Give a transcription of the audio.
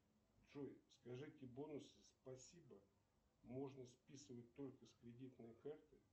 джой скажи бонусы спасибо можно списывать только с кредитной карты